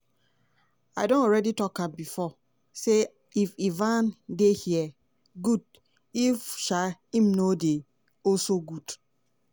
i don already tok am bifor say if ivan dey here good if um im no dey also good.